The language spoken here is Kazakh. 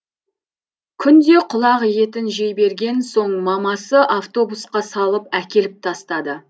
күнде құлақ етін жей берген соң мамасы автобусқа салып әкеліп тастады